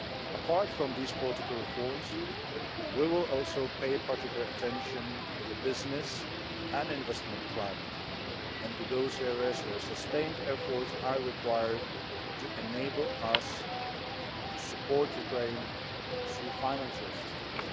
Apart from these political reforms, we will also pay particular attention to the business and investment climate and to those areas where sustained efforts are required to enable us to support Ukraine through financial assistance.